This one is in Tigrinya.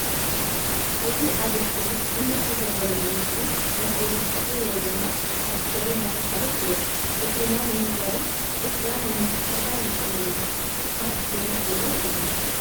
እዚ ኣብ ኣስክሪን ኣንምልከቶ ዘለና ምስሊ መስደዲ ጽፍሪ ወይ ድማ መጸፈሪ እንዳተብሃለ ይፍለጥ ።ጽፍርና ንምስዳድን ጽፍራ ንምስትክካል ይጠቅመና ካብ ብረት ድማ ይስራሕ።